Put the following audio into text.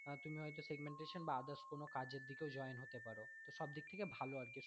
তুমি হয়তো segmentation বা others কোনো কাজ এর দিকেও join হতে পারো তো সব দিক থেকে আর কি ভালো।